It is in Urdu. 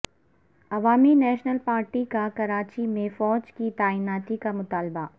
عوامی نیشنل پارٹی کا کراچی میں فوج کی تعیناتی کا مطالبہ